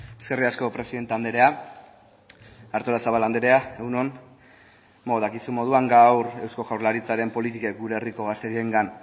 eskerrik asko presidente andrea artolazabal andrea egun on beno dakizun moduan gaur eusko jaurlaritzaren politikek gure herriko gazteriengan